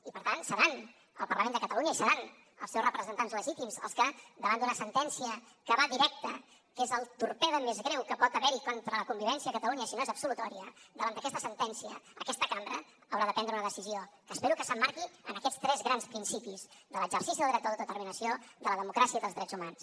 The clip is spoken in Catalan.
i per tant serà el parlament de catalunya i seran els seus representants legítims els que davant d’una sentència que va directa que és el torpede més greu que pot haver hi contra la convivència a catalunya si no és absolutòria davant d’aquesta sentència aquesta cambra haurà de prendre una decisió que espero que s’emmarqui en aquests tres grans principis de l’exercici del dret d’auto determinació de la democràcia i dels drets humans